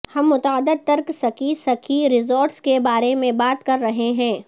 ہم متعدد ترک سکی سکی ریزورٹس کے بارے میں بات کر رہے ہیں